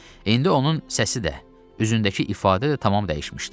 İndi onun səsi də, üzündəki ifadə də tamam dəyişmişdi.